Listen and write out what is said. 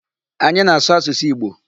Anyị na-asụ asụsụ Igbo.